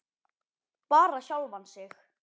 Bara sjálfan sig.